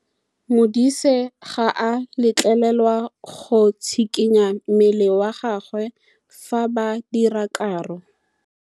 Modise ga a letlelelwa go tshikinya mmele wa gagwe fa ba dira karô.